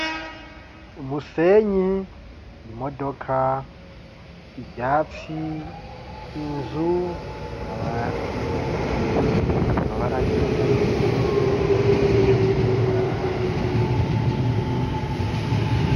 umusenyi , imodoka , ivyatsi , inzu , amabati, amabara yera ari ku nzu , ibicu vyera , n'ibindi.